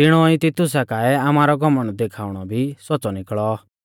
तिणौ ई तितुसा काऐ आमारौ घमण्ड देखाउणौ भी सौच़्च़ौ निकल़ौ